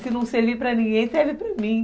Se não servir para ninguém, serve para mim.